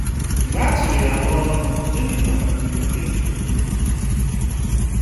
Mgbe a chụrụ ya n'ọrụ, Geniva nọgidere na-enye otu ụzọ n'ụzọ iri.